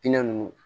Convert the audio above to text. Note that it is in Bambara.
nunnu